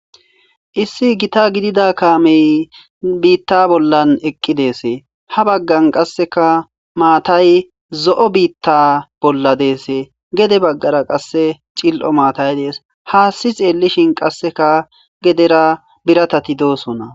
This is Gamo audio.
issi gita gidida kaamey biitta bollan eqqi deese ha baggan qasseka maatay zo7o biitta bolla deese gede baggara qasse cil7o maatay dees haassi xeellishin qasseka gedera biratati doosonna